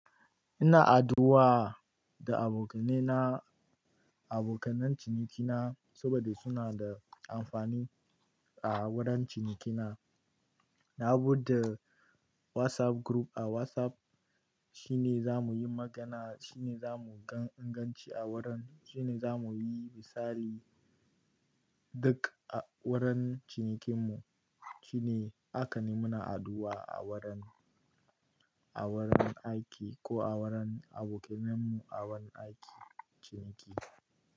Ina addu'a da abokaina, abokan cinikina saboda suna da amfani a wurin cinikina. Na buɗe WhatsApp group a WhatsApp. Shi ne za mu yi magana, shi ne za mu ga inganci a wurin, shi ne za mu yi misali duk a wurin cinikinmu. Shi ne, haka ne muna haddu'a a wurin, a wurin aiki ko a wurin abokainenmu a wani aiki, ciniki.